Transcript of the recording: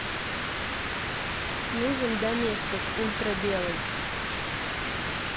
нужен доместос ультра белый